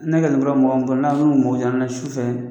sufɛ